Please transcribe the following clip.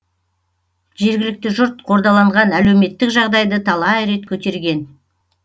жергілікті жұрт қордаланған әлеуметтік жағдайды талай рет көтерген